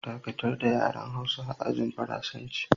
Dakatar da yaren Hausa a ajin Faransanci!